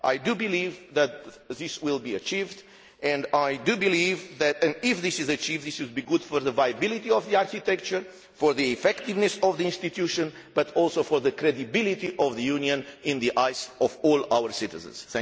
I believe that this will be achieved and I believe that, if this is achieved, it will be good for the viability of the architecture and the effectiveness of the institution, but also for the credibility of the Union in the eyes of all our citizens.